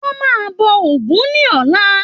Wọn máa bọ ògún ní ọ̀la.